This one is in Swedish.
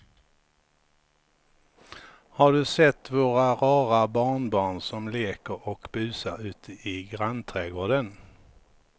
Har du sett våra rara barnbarn som leker och busar ute i grannträdgården!